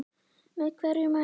Með hverju mælir þú?